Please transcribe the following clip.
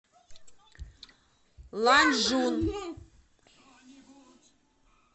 ланчжун